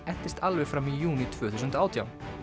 entist alveg fram í júní tvö þúsund og átján